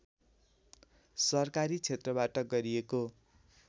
सरकारी क्षेत्रबाट गरिएको